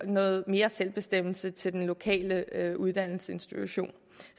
noget mere selvbestemmelse til den lokale uddannelsesinstitution